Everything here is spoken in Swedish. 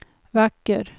vacker